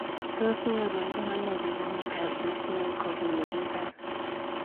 Tos nyorundoi anoo piik miondopp duchenne kopunu piik alaak?